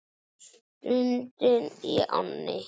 Sundið í ánni Nið